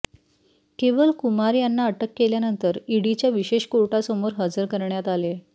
केवल कुमार यांना अटक केल्यानंतर ईडीच्या विशेष कोर्टासमोर हजर करण्यात आले